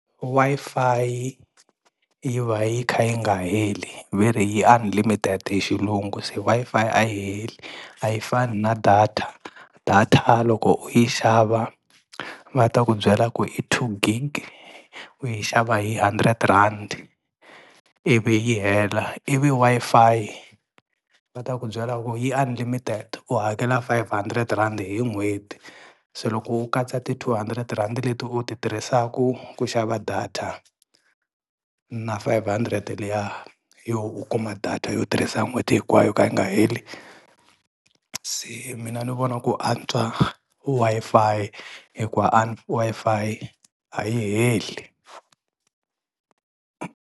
Wi-Fi yi yi va yi kha yi nga heli ve ri yi unlimited hi xilungu se Wi-Fi a yi heli a yi fani na data, data loko u yi xava va ta ku byela ku i two gig u yi xava hi hundred rand ivi yi hela, ivi Wi-Fi va ta ku byela ku yi unlimited u hakela five hundred rand hi n'hweti se loko u katsa ti-two hundred rand leti u ti tirhisaka ku xava data na five hundred liya yo u kuma data yo tirhisa n'hweti hinkwayo yo ka yi nga heli se mina ni vona ku antswa ku Wi-Fi hikuva Wi-Fi a yi heli.